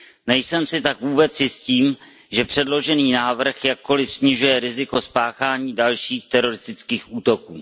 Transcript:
Nejsem si tak vůbec jistý tím, že předložený návrh jakkoliv snižuje riziko spáchání dalších teroristických útoků.